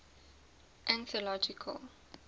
anthological